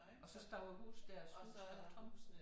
Og står æ hus dér husene tomt